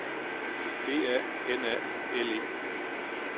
B A N A L E